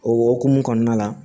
O hokumu kɔnɔna la